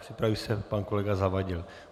Připraví se pan kolega Zavadil.